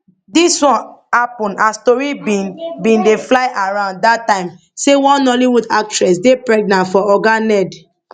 dis one happun as tori bin bin dey fly around dat time say one nollywood actress dey pregnant for oga ned